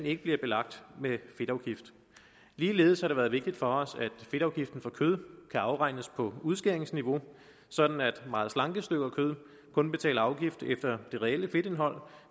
ikke bliver belagt med fedtafgift ligeledes har det været vigtigt for os at fedtafgiften for kød kan afregnes på udskæringsniveau sådan at der for meget slanke stykker kød kun betales afgift efter det reelle fedtindhold